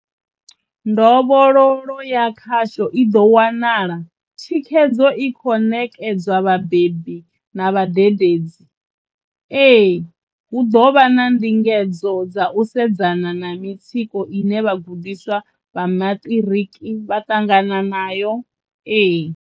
Ndovhololo ya khasho i ḓo wanala. Thikhedzo i khou ṋekedzwa vhabebi na vhadededzi, ee. Hu ḓo vha ndingedzo dza u sedzana na mitsiko ine vhagudiswa vha maṱiriki vha ṱangana nayo, ee.